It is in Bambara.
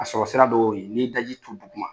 Ka sɔrɔ sira dɔ y'o ye, n'i ye daji tu duguma